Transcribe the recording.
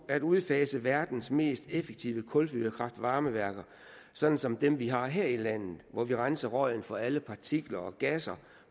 at udfase verdens mest effektive kulfyrede kraft varme værker som som dem vi har her i landet hvor vi renser røgen for alle partikler og gasser